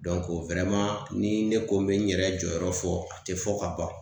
ni ne ko n bɛ n yɛrɛ jɔyɔrɔ fɔ, a tɛ fɔ ka ban.